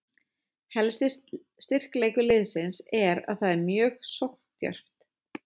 Helsti styrkleikur liðsins er að það er mjög sókndjarft.